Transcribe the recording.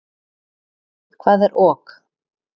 Hvað er ok?